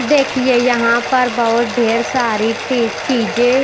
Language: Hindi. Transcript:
देखिए यहां पर बहोत ढेर सारी टी चीजें--